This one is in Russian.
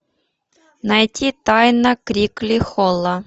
найти тайна крикли холла